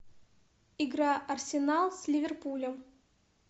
игра арсенал с ливерпулем